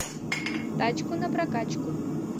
тачку на прокачку